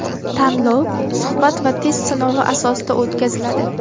Tanlov suhbat va test sinovi asosida o‘tkaziladi.